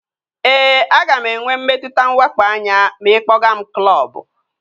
Ee, aga m enwe mmetụta nwakpo anya ma ị kpọga m klọbu